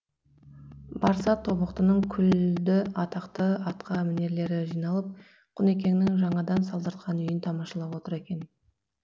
барса тобықтының күлді атақты атқа мінерлері жиналып құнекеңнің жаңадан салдыртқан үйін тамашалап отыр екен